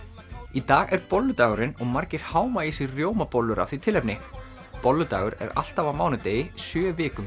í dag er bolludagurinn og margir háma í sig rjómabollur af því tilefni bolludagur er alltaf á mánudegi sjö vikum